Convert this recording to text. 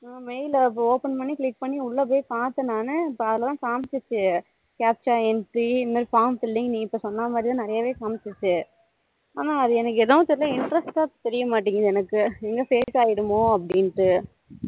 mail அப்போ open பண்ணி click பண்ணி உள்ள போய் பாத்தேன் நானு இப்போ அதுல தான் காமிச்சது capture entry form filling நீ இப்போ சொன்னா மாதிரி தான் காமிச்சிசு ஆனோ அது எனக்கு ஏதோ interest தெரிய மாட்டுக்கு எனக்கு எங்க fake ஆக்கிடுமோ அப்படின்டு